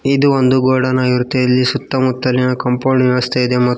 ಇದು ಒಂದು ಗೋಡಾನ್ ಆಗಿರುತ್ತೆ ಇಲ್ಲಿ ಸುತ್ತ ಮುತ್ತಲಿನ ಕಾಂಪೌಂಡ್ ವ್ಯವಸ್ಥೆ ಇದೆ ಮತ್ತು